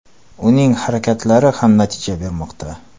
Uning harakatlari ham natija bermoqda.